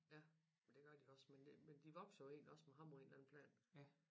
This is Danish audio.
Ja og det gør de også men det men de vokser jo egentlig også med ham på en eller anden plan